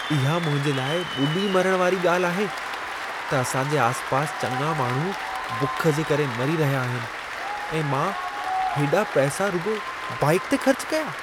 इहा मुंहिंजे लाइ ॿुॾी मरण वारी ॻाल्हि आहे, त असां जे आसिपासि चङा माण्हू बुख जे करे मरी रहिया आहिनि ऐं मां हेॾा पैसा रुॻो बाइक ते ख़र्च कयां।